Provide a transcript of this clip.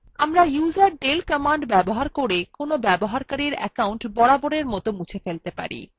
আমরা userdel command ব্যবহার করে কোনো ব্যবহারকারীর অ্যাকাউন্ট বরাবরের মত মুছে ফেলতে পারি